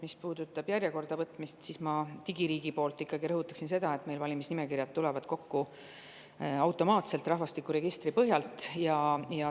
Mis puudutab järjekorda võtmist, siis ma digiriigi nimel ikkagi rõhutan seda, et meil valimisnimekirjad tulevad kokku automaatselt, rahvastikuregistri põhjal.